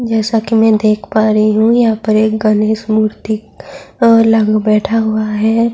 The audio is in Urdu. جیسا کہ میں دیکھ پا رہی ہوں یہاں ایک گنیش مورتی بیٹھا ہوا ہے-